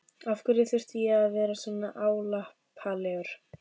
Af hverju þurfti ég að vera svona álappalegur?